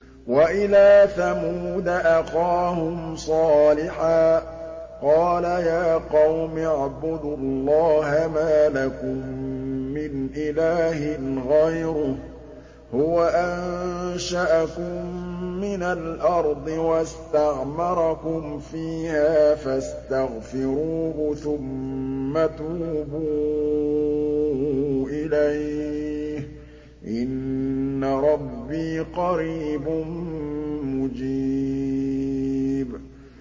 ۞ وَإِلَىٰ ثَمُودَ أَخَاهُمْ صَالِحًا ۚ قَالَ يَا قَوْمِ اعْبُدُوا اللَّهَ مَا لَكُم مِّنْ إِلَٰهٍ غَيْرُهُ ۖ هُوَ أَنشَأَكُم مِّنَ الْأَرْضِ وَاسْتَعْمَرَكُمْ فِيهَا فَاسْتَغْفِرُوهُ ثُمَّ تُوبُوا إِلَيْهِ ۚ إِنَّ رَبِّي قَرِيبٌ مُّجِيبٌ